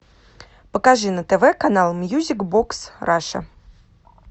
покажи на тв канал мьюзик бокс раша